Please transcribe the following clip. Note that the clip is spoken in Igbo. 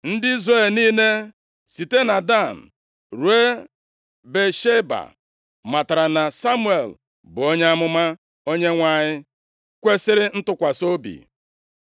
Ndị Izrel niile, site na Dan ruo Bịasheba, matara na Samuel bụ onye amụma Onyenwe anyị kwesiri ntụkwasị obi.